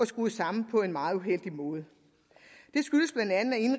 skruet sammen på en meget uheldig måde